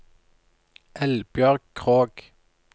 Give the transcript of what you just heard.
Eldbjørg Krogh